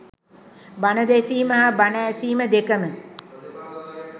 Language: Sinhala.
බණ දෙසීම හා බණ ඇසීම දෙකම